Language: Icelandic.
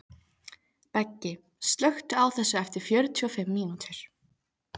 Beggi, slökktu á þessu eftir fjörutíu og fimm mínútur.